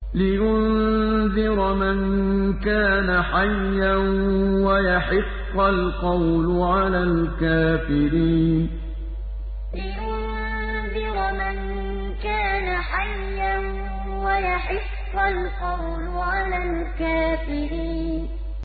لِّيُنذِرَ مَن كَانَ حَيًّا وَيَحِقَّ الْقَوْلُ عَلَى الْكَافِرِينَ لِّيُنذِرَ مَن كَانَ حَيًّا وَيَحِقَّ الْقَوْلُ عَلَى الْكَافِرِينَ